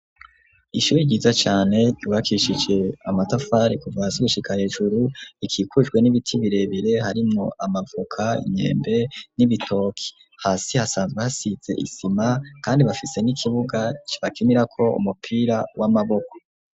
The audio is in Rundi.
ishuri ryiza cane ryubakishije amatafari kuva hasi gushika hejuru, ikikujwe n'ibiti birebire harimwo amavoka, Imyembe n'ibitoki, hasi hasanzwe hasize isima, kandi bafise n'ikibuga bakinirako umupira w'amaboko.